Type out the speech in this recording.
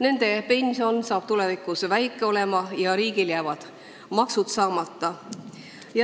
Riigil jäävad maksud saamata ja nende inimeste pension saab tulevikus väga väike olema.